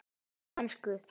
Á ensku